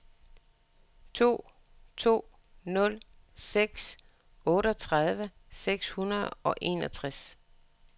to to nul seks otteogtredive seks hundrede og enogtres